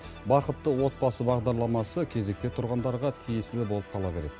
бақытты отбасы бағдарламасы кезекте тұрғандарға тиесілі болып қала береді